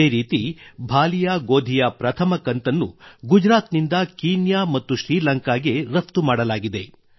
ಇದೇ ರೀತಿ ಭಾಲಿಯಾ ಗೋಧಿಯ ಪ್ರಥಮ ಕಂತನ್ನು ಗುಜರಾತ್ ನಿಂದ ಕೀನ್ಯಾ ಮತ್ತು ಶ್ರೀಲಂಕಾಗೆ ರಫ್ತು ಮಾಡಲಾಗಿದೆ